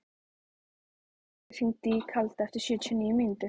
Eyvindur, hringdu í Kalda eftir sjötíu og níu mínútur.